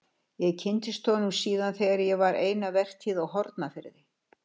Ég kynntist honum síðar þegar ég var eina vertíð á Hornafirði.